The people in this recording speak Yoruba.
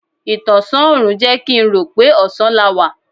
Ìtọ̀sán òrùn jẹ́ kín rò pé ọ̀sán la wá.